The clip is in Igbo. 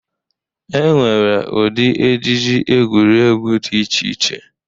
E nwere ụdị ejiji egwuregwu dị iche iche.